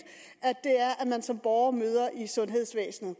man som borger møder i sundhedsvæsenet